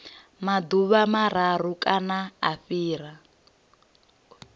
maḓuvha mararu kana u fhira